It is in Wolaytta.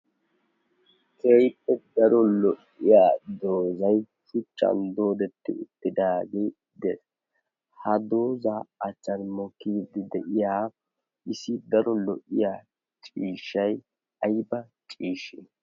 keehippe daro lo''iya doozay shuchchan doodetti uttidaagii dees ha doozaa accharimo kiiddi de'iya isi daro lo''iya ciishshay ayba ciishshi